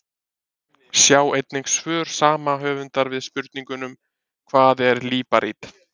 Sjá einnig svör sama höfundar við spurningunum: Hvað er líparít?